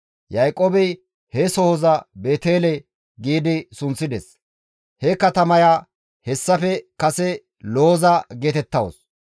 Yaaqoobey he sohoza Beetele gi sunththides; he katamaya hessafe kase Looza geetettawus.